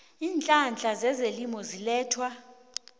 iinhlahla zezelimo ezilethwa